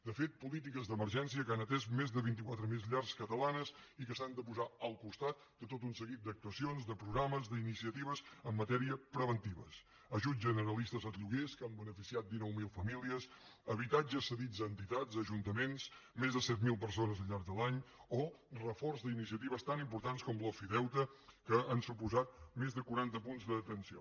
de fet polítiques d’emergència que han atès més de vint quatre mil llars catalanes i que s’han de posar al costat de tot un seguit d’actuacions de programes d’iniciatives en matèria preventiva ajuts generalistes als lloguers que han beneficiat dinou mil famílies habitatges cedits a entitats a ajuntaments més de set mil persones al llarg de l’any o reforç d’iniciatives tan importants com l’ofideute que han suposat més de quaranta punts d’atenció